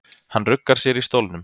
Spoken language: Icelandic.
Hann ruggar sér í stólnum.